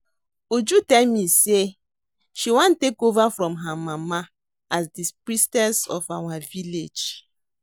Uju tell me say she wan take over from her mama as the Priestess of our village